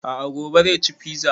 A'a gobe zai ci fiza